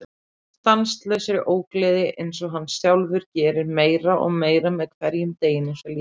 Stanslausri ógleði einsog hann sjálfur gerir meira og meira með hverjum deginum sem líður.